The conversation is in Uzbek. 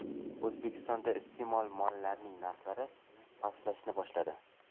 O‘zbekistonda iste’mol mollarining narxlari pastlashni boshladi.